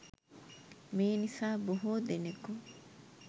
මේ නිසා බොහෝ දෙනකු